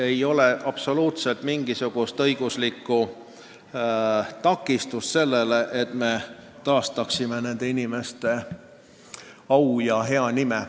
Ei ole absoluutselt mitte mingisugust õiguslikku takistust taastada nende inimeste au ja hea nimi.